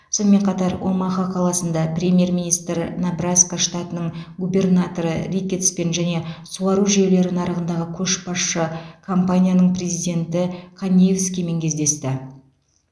сонымен қатар омаха қаласында премьер министр небраска штатының губернаторы рикеттспен және суару жүйелері нарығындағы көшбасшы компанияның президенті каниевскимен кездесті